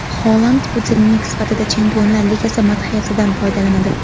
Holand budilnik sifatida Chempionlar Ligasi madhiyasidan foydalanadi.